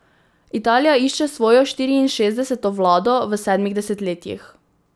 Italija išče svojo štiriinšestdeseto vlado v sedmih desetletjih.